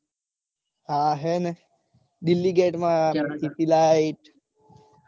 હા હેને. delhi gate માં city light .